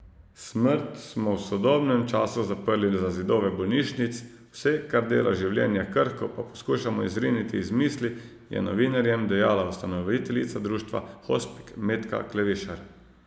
Smrt smo v sodobnem času zaprli za zidove bolnišnic, vse, kar dela življenje krhko, pa skušamo izriniti iz misli, je novinarjem dejala ustanoviteljica društva hospic Metka Klevišar.